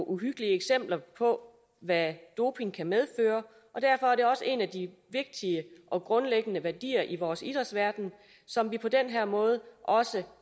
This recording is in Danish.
uhyggelige eksempler på hvad doping kan medføre og derfor er det også en af de vigtige og grundlæggende værdier i vores idrætsverden som vi på den her måde også